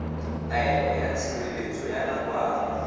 taelo ya tshireletso ya nakwana